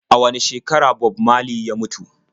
A wane shekara Bob marley ya mutu?